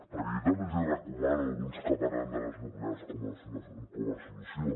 perquè jo també els hi recomano a alguns que parlen de les nuclears com a solució